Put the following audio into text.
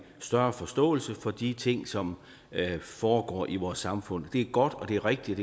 større forståelse for de ting som foregår i vores samfund det er godt og det er rigtigt